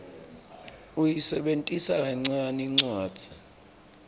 uyisebentisa kancane incwadzi